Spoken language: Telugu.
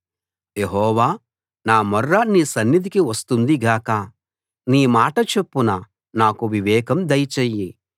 యెహోవా నా మొర్ర నీ సన్నిధికి వస్తుంది గాక నీ మాట చొప్పున నాకు వివేకం దయచెయ్యి